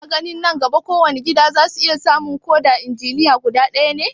Kina ganin nan gaba kowane gida za su iya samun ko da injiniya guda ɗaya ne?